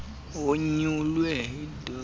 onyulwe yidac idoj